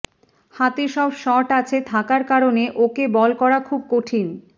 হাতে সব শট আছে থাকার কারণে ওকে বল করা খুব কঠিন